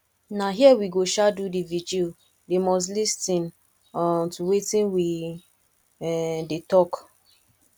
na here we go um do the vigil they must lis ten um to wetin we um dey talk